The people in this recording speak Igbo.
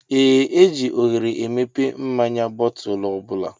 Ee eji oghere emepe mmáñyá bootulu ọbula.